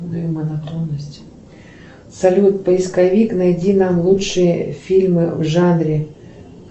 салют поисковик найди нам лучшие фильмы в жанре